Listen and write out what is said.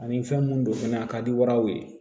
Ani fɛn mun don fɛnɛ a ka di waraw ye